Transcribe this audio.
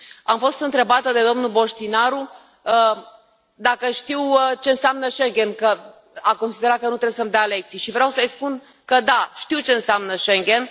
Am fost întrebată de domnul Boștinaru dacă știu ce înseamnă Schengen, că a considerat că nu trebuie să îmi dea lecții și vreau să îi spun că da, știu ce înseamnă Schengen.